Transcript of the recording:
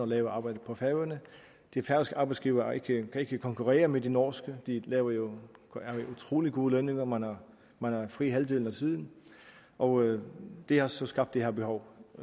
laver arbejdet på færøerne de færøske arbejdsgivere kan ikke konkurrere med de norske de giver jo jo utrolig gode lønninger og man har fri halvdelen af tiden og det har så skabt det her behov